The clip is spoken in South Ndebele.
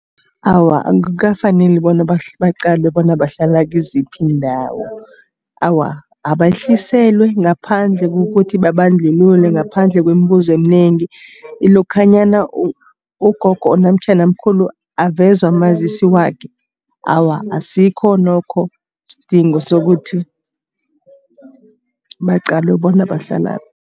Awa, akukafaneli bona baqalwe bona bahlala kiziphi iindawo. Awa, abehliselwe ngaphandle kokuthi babandlulule. Ngaphandle kwemibuzo eminengi lokhanyana ugogo namtjhana umkhulu aveza umazisi wakhe. Awa, asikho nokho isidingo sokuthi baqalwe bona bahlalaphi.